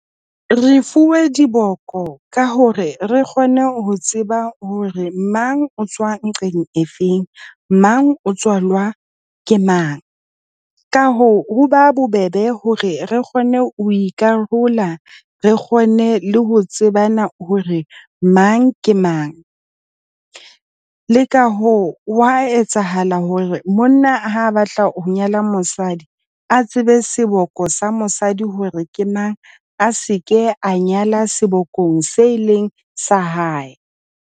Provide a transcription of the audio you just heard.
Re fuwe diboko ka hore re kgone ho tseba hore mang o tswa nqeng efeng, mang o tswalwa ke mang. Ka hoo ho ba bobebe hore re kgone ho ikarola re kgone le ho tsebana hore mang ke mang. Le ka hoo wa etsahala hore monna ha batla ho nyala mosadi, a tsebe seboko sa mosadi hore ke mang, a se ke a nyala sebokong se leng sa hae.